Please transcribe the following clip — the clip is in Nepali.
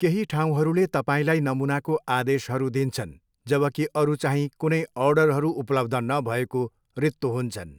केही ठाउँहरूले तपाईँलाई नमूनाको आदेशहरू दिन्छन्, जबकि अरू चाहिँ कुनै अर्डरहरू उपलब्ध नभएको रित्तो हुन्छन्।